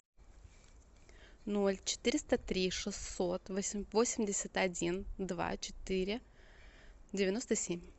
ноль четыреста три шестьсот восемьдесят один два четыре девяносто семь